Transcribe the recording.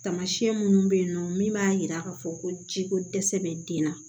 Tamasiyɛn minnu bɛ yen nɔ min b'a jira k'a fɔ ko jiko dɛsɛ bɛ den na